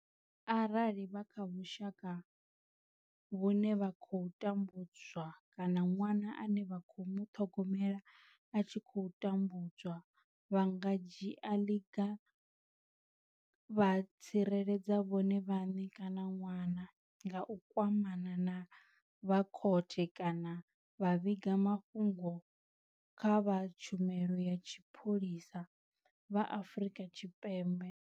Arali vha kha vhushaka vhune vha tambu dzwa kana ṅwana ane vha khou muṱhogomela a tshi khou tambudzwa, vha nga dzhia ḽiga vha tsireledza vhone vhaṋe kana ṅwana nga u kwamana na vha khothe kana vha vhiga mafhungo kha vha Tshumelo ya Mapholisa vha Afrika Tshipembe.